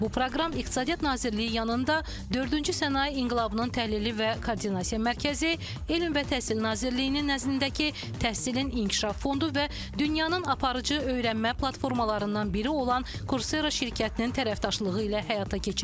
Bu proqram İqtisadiyyat Nazirliyi yanında Dördüncü Sənaye İnqilabının Təhlili və Koordinasiya Mərkəzi, Elm və Təhsil Nazirliyinin nəzdindəki təhsilin inkişaf fondu və dünyanın aparıcı öyrənmə platformalarından biri olan Kursera şirkətinin tərəfdaşlığı ilə həyata keçirilir.